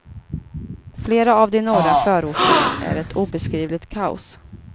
Flera av de norra förorterna är ett obeskrivligt kaos.